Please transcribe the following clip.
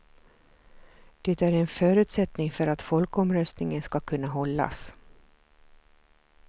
Det är en förutsättning för att folkomröstningen ska kunna hållas.